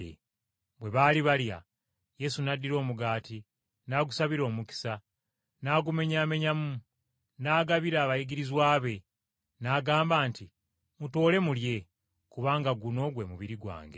Bwe baali balya, Yesu n’addira omugaati n’agusabira omukisa, n’agumenyaamenyamu n’agabira abayigirizwa be, n’agamba nti, “Mutoole mulye, kubanga guno gwe mubiri gwange.”